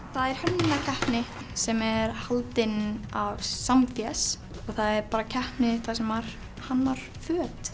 það er hönnunarkeppni sem er haldin á Samfés það er bara keppni þar sem maður hannar föt